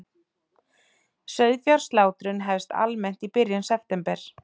Sauðfjárslátrun hefst almennt í byrjun september